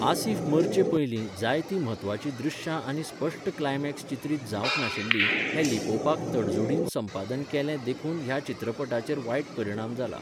आसिफ मरचे पयलीं जायती म्हत्वाची दृश्यां आनी स्पश्ट क्लायमेक्स चित्रीत जावंक नाशिल्लीं हें लिपोवपाक तडजोडीन संपादन केलें देखून ह्या चित्रपटाचेर वायट परिणाम जाला .